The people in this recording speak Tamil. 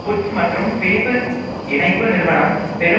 புட்ஸ் மற்றும் பிலிப் இணைப்பு நிறுவனம் பெரும்